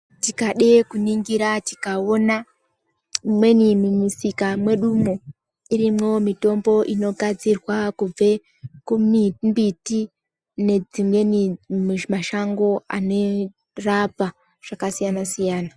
Tikade ku ningira tikaona imweni mu misika mwedu mwo irimwo mitombo inogadzirwa kubve ku mbiti nedzimweni mashango ano rapa zvaka siyana siyana.